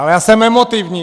Ale já jsem emotivní.